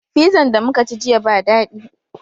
Fizan da muka ci jiya ba dadi